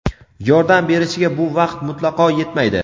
yordam berishiga bu vaqt mutlaqo yetmaydi.